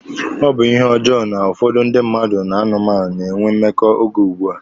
Ọ bụ ihe ọjọọ na ụfọdụ ndị mmadụ na anụmanụ na-enwe mmekọ oge ugbua.